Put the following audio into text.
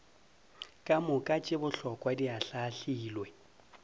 kamoka tše bohlokwa di ahlaahlilwe